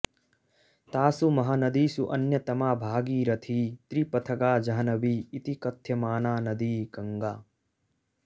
तासु महानदीषु अन्यतमा भागीरथी त्रिपथगा जाह्नवी इति कथ्यमाना नदी गङ्गा